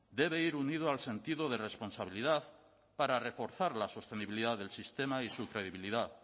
debe ir unido al sentido de responsabilidad para reforzar la sostenibilidad del sistema y su credibilidad